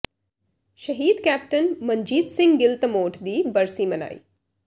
ਸ਼ਹੀਦ ਕੈਪਟਨ ਮਨਜੀਤ ਸਿੰਘ ਗਿੱਲ ਧਮੋਟ ਦੀ ਬਰਸੀ ਮਨਾਈ